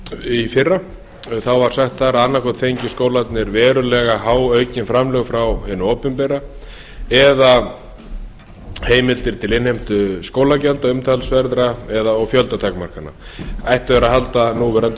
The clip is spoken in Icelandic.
í fyrra þá var sagt að annaðhvort fengju skólarnir verulega há aukin framlög frá hinu opinbera eða heimildir til innheimtu skólagjalda umtalsverðra og fjöldatakmarkana ættu þeir að halda núverandi